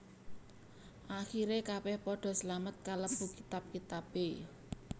Akhire kabeh padha slamet kalebu kitab kitabe